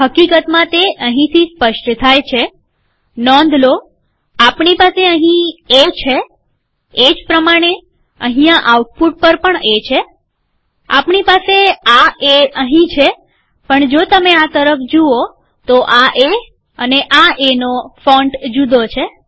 હકીકતમાં તે અહીંથી સ્પષ્ટ થાય છેનોંધ લો આપણી પાસે અહી એ છે એ જ પ્રમાણે અહીંયા આઉટપુટ પર પણ છેઆપણી પાસે આ એ અહીં છે પણ જો તમે આ તરફ જુઓ તો આ એ એનો ફોન્ટ જુદો છે